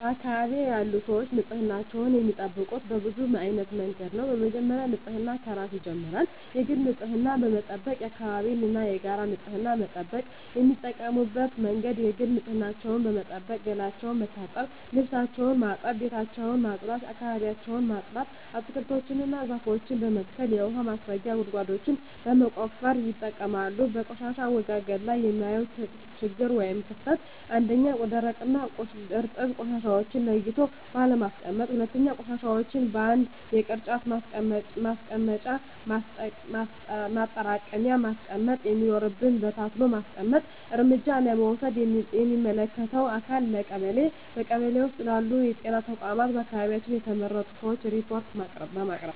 በአካባቢዬ ያሉ ሰዎች ንፅህናቸውን የሚጠብቁት በብዙ አይነት መንገድ ነው በመጀመሪያ ንፅህና ከራስ ይጀምራል የግል ንፅህናን በመጠበቅ የአካባቢን እና የጋራ ንፅህና መጠበቅ። የሚጠቀሙበት መንገድ የግል ንፅህናቸውን በመጠበቅ ገላቸውን መታጠብ ልብሳቸውን ማጠብ ቤታቸውን ማፅዳት አካባቢያቸውን ማፅዳት። አትክልቶችን እና ዛፎችን በመትከል የውሀ ማስረጊያ ጉድጓዶችን በመቆፈር ይጠቀማሉ። በቆሻሻ አወጋገድ ላይ የማየው ችግር ወይም ክፍተት 1ኛ, ደረቅና እርጥብ ቆሻሻዎችን ለይቶ ባለማስቀመጥ 2ኛ, ቆሻሻዎችን በአንድ የቅርጫት ማስቀመጫ ማጠራቀሚያ ማስቀመጥ ሲኖርብን በታትኖ በመጣል። እርምጃ ለመውሰድ ለሚመለከተው አካል ለቀበሌ ,በቀበሌ ውስጥ ባሉ ጤና ተቋማት በአካባቢያችን በተመረጡ ሰዎች ሪፓርት በማቅረብ።